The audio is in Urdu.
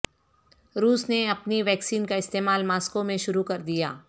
روس نے اپنی ویکسین کا استعمال ماسکو میں شروع کر دیا